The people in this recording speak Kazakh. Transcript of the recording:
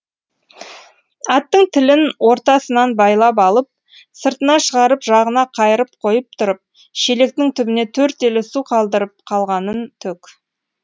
аттың тілін ортасынан байлап алып сыртына шығарып жағына қайырып қойып тұрып шелектің түбіне төрт елі су қалдырып қалғанын төк